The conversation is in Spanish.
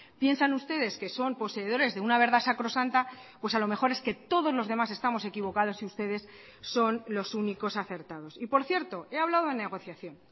piensan ustedes que son poseedores de una verdad sacrosanta pues a lo mejor es que todos los demás estamos equivocados y ustedes son los únicos acertados y por cierto he hablado de negociación